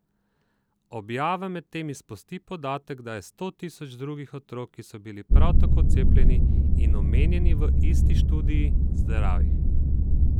Objava medtem izpusti podatek, da je sto tisoč drugih otrok, ki so bili prav tako cepljeni in omenjeni v isti študiji, zdravih.